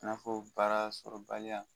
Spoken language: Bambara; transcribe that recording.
i n'a fɔ baarasɔrɔbaliya.